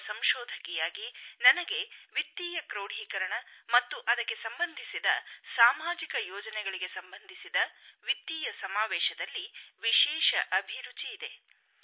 ಒಬ್ಬ ಸಂಶೋಧಕಿಯಾಗಿ ನನಗೆ ವಿತ್ತೀಯ ಕ್ರೋಢಿಕರಣ ಮತ್ತು ಅದಕ್ಕೆ ಸಂಬಂಧಿಸಿದ ಸಾಮಾಜಿಕ ಯೋಜನೆಗಳಿಗೆ ಸಂಬಂಧಿಸಿದ ವಿತ್ತೀಯ ಸಮಾವೇಶದಲ್ಲಿ ವಿಶೇಷ ಅಭಿರುಚಿಯಿದೆ